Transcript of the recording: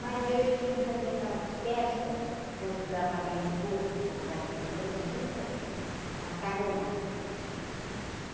Mas aí eu tinha que fazer aquelas festas para ajudar a pagar imposto, comprar terrenos e eu fazia macarronada.